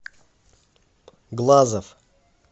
глазов